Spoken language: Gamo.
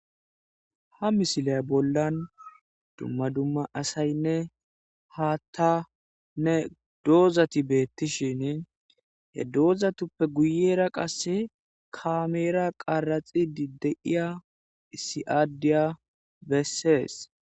ha misilay bollan dumma dumma asaynne haattanne doozati beettishin he doozatuppe guyera qasse kaameera qaraxidi de'iya issi adiya bessees